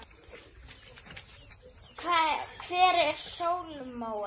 Hver var Salóme?